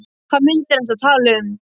Hvaða myndir ertu að tala um?